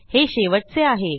हे शेवटचे आहे